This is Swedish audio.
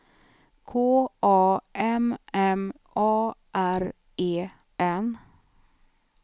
K A M M A R E N